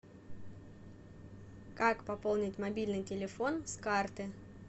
как пополнить мобильный телефон с карты